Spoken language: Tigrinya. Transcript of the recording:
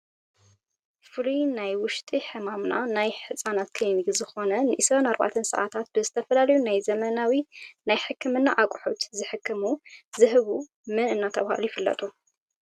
ፍሉይ ናይ ውሽጢ ሕማምና ናይ ህፃናት ክሊኒክ ዝኮነ ንዒስራን ኣርባዕተን ስዓታት ብዝተፈላለዩ ናይ ዘመናዊ ናይ ሕክምና ኣቁሑት ዝሕክሙ ዝህቡ መን እናተባህሉ ይፍለጡ?